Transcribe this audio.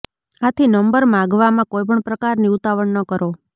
આથી નંબર માગવામાં કોઈપણ પ્રકારની ઉતાવળ ન કરો